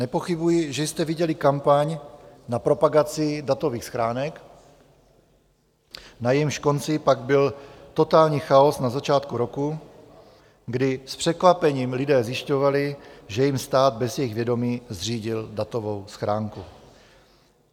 Nepochybuji, že jste viděli kampaň na propagaci datových schránek, na jejímž konci pak byl totální chaos na začátku roku, kdy s překvapením lidé zjišťovali, že jim stát bez jejich vědomí zřídil datovou schránku.